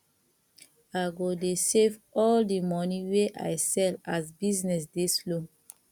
i go dey save all di moni wey i sell as business dey slow